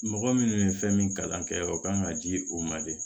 Mɔgɔ minnu ye fɛn min kalan kɛ o kan ka di o ma de